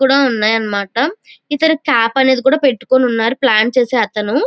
కూడా ఉన్నాయ్ అన్నమాట ఇక్కడ క్యాప్ అనేది పెట్టుకొని ఉన్నాడు ప్లాన్ చేసే అతను.